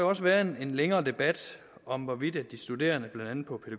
også været en længere debat om hvorvidt de studerende blandt andet på